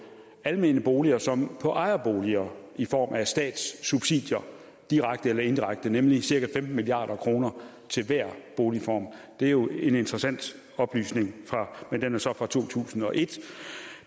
almene boliger som på ejerboliger i form af statssubsidier direkte eller indirekte nemlig cirka femten milliard kroner til hver boligform og det er jo en interessant oplysning men den er så fra to tusind og et